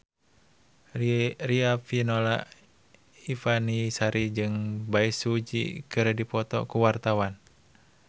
Riafinola Ifani Sari jeung Bae Su Ji keur dipoto ku wartawan